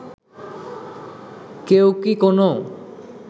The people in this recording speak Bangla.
কেউ কি কোনো